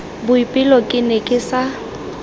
boipelo ke ne ke sa